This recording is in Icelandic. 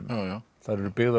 þær eru byggðar